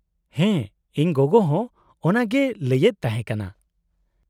-ᱦᱮᱸ, ᱤᱧ ᱜᱚᱜᱚ ᱦᱚᱸ ᱚᱱᱟᱜᱮᱭ ᱞᱟᱹᱭᱮᱫ ᱛᱟᱦᱮᱸ ᱠᱟᱱᱟ ᱾